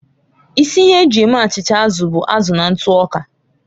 Isi ihe eji eme achịcha azụ bụ azụ na ntụ ọka.